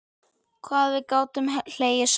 Hvað við gátum hlegið saman.